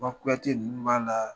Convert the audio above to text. Maa Kuyate ninnu b'a la.